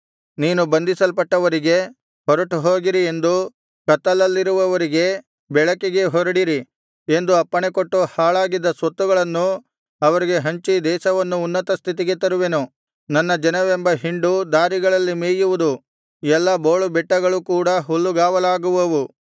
ನೀನು ಬಂದಿಸಲ್ಪಟ್ಟವರಿಗೆ ಹೊರಟುಹೋಗಿರಿ ಎಂದು ಕತ್ತಲಲ್ಲಿರುವವರಿಗೆ ಬೆಳಕಿಗೆ ಹೊರಡಿರಿ ಎಂದು ಅಪ್ಪಣೆಕೊಟ್ಟು ಹಾಳಾಗಿದ್ದ ಸ್ವತ್ತುಗಳನ್ನು ಅವರಿಗೆ ಹಂಚಿ ದೇಶವನ್ನು ಉನ್ನತ ಸ್ಥಿತಿಗೆ ತರುವೆನು ನನ್ನ ಜನವೆಂಬ ಹಿಂಡು ದಾರಿಗಳಲ್ಲಿ ಮೇಯುವುದು ಎಲ್ಲಾ ಬೋಳುಬೆಟ್ಟಗಳೂ ಕೂಡ ಹುಲ್ಲುಗಾವಲಾಗುವವು